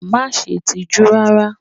Má ṣe tijú rárá!